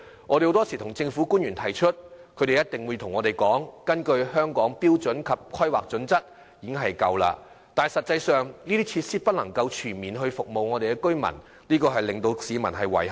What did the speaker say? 我們向政府反映時，官員往往表示根據《香港規劃標準與準則》，區內已設有足夠圖書館，但實際上這些設施不能全面服務居民，令市民感到遺憾。